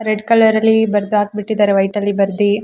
red colour ಅಲ್ಲಿ ಬರ್ದ್ ಹಾಕ್ಬಿಟ್ಟಿದ್ದಾರೆ ವೈಟ್ ಅಲ್ಲಿ ಬರ್ದಿ--